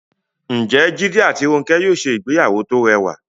Ǹjẹ́ Jídé àti Rónkẹ́ yóò ṣe ìgbéyàwó tó rẹwà?